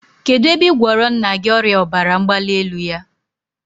Kedụ ebe ị gwọrọ nna gị ọrịa ọbara mgbalielu ya?